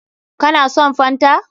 Ka na son fanta?